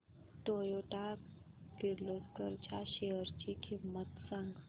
Toyota Kirloskar च्या shares ची किंमत सांग